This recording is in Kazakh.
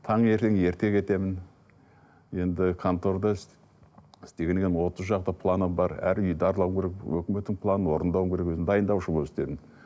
таңертең ерте кетемін енді канторда іс істегеннен кейін отыз шақты планым бар әр үйді аралауым керек өкіметтің планын орындау керек өзім дайындаушы болып істедім